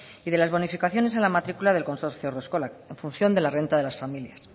y de las bonificaciones a la matricula del consorcio haurreskoak en función de la renta de las familias